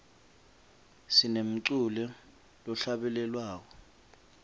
sinemculo lohlabelelwako